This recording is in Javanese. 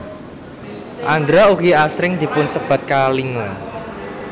Andhra ugi asring dipun sebat Kalinga